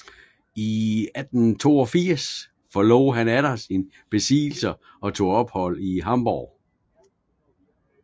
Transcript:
I 1682 forlod han atter sine besiddelser og tog ophold i Hamborg